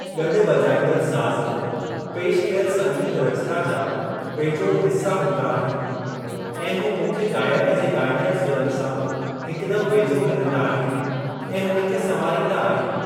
गॾु वॼाईंदड़ साज़, पेशि कयल संगीत रचना जा बेजोड़ हिस्‍सा हूंदा आहिन, ऐं हू मुख्य गायक जे ॻाईंदड़ सुरनि सां हिकदम वेझो हलंदा आहिनि ऐं हुनखे संवारींदा आहिनि।